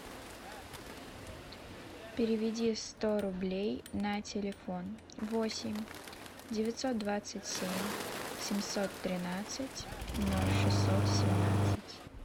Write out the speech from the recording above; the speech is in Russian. переведи сто рублей на телефон восемь девятьсот двадцать семь семьсот тринадцать ноль шестьсот семнадцать